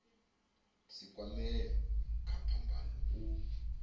si kwamee kha phambano u